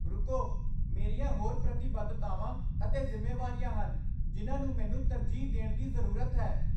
ਰੁਕੋ, ਮੇਰੀਆਂ ਹੋਰ ਪ੍ਰਤੀਬੱਧਤਾਵਾਂ ਅਤੇ ਜ਼ਿੰਮੇਵਾਰੀਆਂ ਹਨ ਜਿਨ੍ਹਾਂ ਨੂੰ ਮੈਨੂੰ ਤਰਜੀਹ ਦੇਣ ਦੀ ਜ਼ਰੂਰਤ ਹੈ।